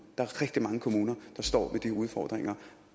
der er rigtig mange kommuner der står med de udfordringer